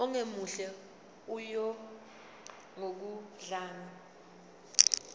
ongemuhle oya ngokudlanga